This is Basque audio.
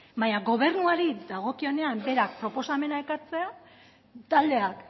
baina gobernuari dagokienean berak proposamen ekartzea taldeak